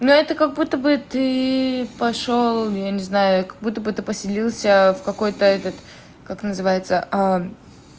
ну это как будто бы ты пошёл я не знаю как будто бы ты поселился в какой-то этот как называется